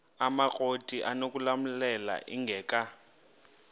amakrot anokulamla ingeka